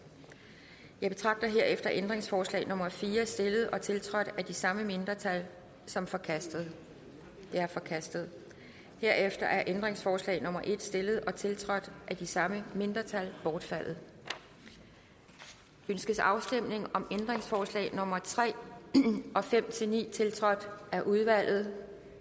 jeg betragter herefter ændringsforslag nummer fire stillet og tiltrådt af de samme mindretal som forkastet det er forkastet herefter er ændringsforslag nummer en stillet og tiltrådt af de samme mindretal bortfaldet ønskes afstemning om ændringsforslag nummer tre og fem ni tiltrådt af udvalget